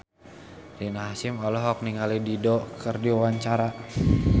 Rina Hasyim olohok ningali Dido keur diwawancara